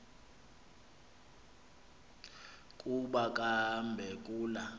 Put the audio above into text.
kuba kambe kula